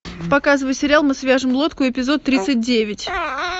показывай сериал мы свяжем лодку эпизод тридцать девять